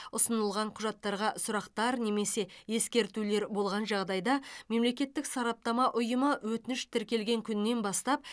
ұсынылған құжаттарға сұрақтар немесе ескертулер болған жағдайда мемлекеттік сараптама ұйымы өтініш тіркелген күннен бастап